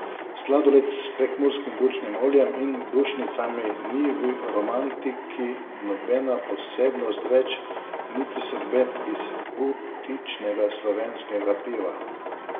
Sladoled s prekmurskim bučnim oljem in bučnicami ni v Romantiki nobena posebnost več, niti sorbet iz butičnega slovenskega piva.